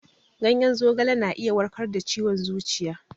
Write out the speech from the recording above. Ganyen zogala na iya warkar da ciwon zuciya.